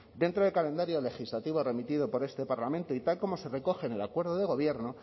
dentro del calendario legislativo remitido por este parlamento y tal como se recoge en el acuerdo de gobierno